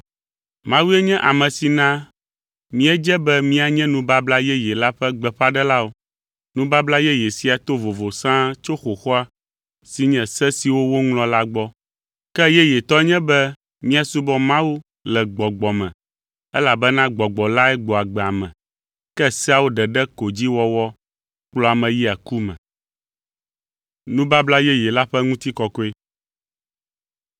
Mawue nye ame si na míedze be míanye Nubabla Yeye la ƒe gbeƒãɖelawo. Nubabla Yeye sia to vovo sãa tso xoxoa si nye se siwo woŋlɔ la gbɔ. Ke yeyetɔ nye be míasubɔ Mawu le Gbɔgbɔ me elabena Gbɔgbɔ lae gbɔa agbe ame, ke seawo ɖeɖe ko dzi wɔwɔ kplɔa ame yia ku me.